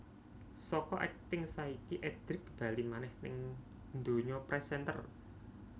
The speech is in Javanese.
Saka akting saiki Edric bali manèh ning dunya presenter